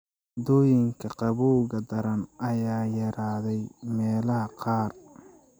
Dhacdooyinka qabowga daran ayaa yaraaday meelaha qaar.